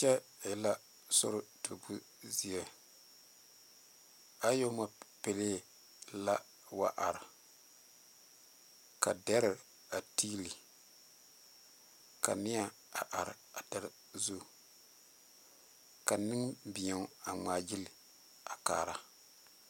Kyɛ e la sori tuubo zie ayɔɔmapele la wa are ka deri a tiile ka nie a are a deri zu ka Nenbɛro a ŋmaa gyile a kaara.